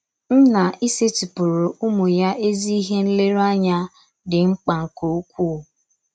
Nna ịsetịpụrụ ụmụ ya ezi ihe nlereanya dị mkpa nke ukwuú.